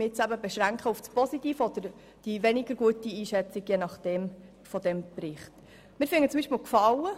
Ich beschränke mich nun auf die positive sowie die weniger guten Einschätzungen.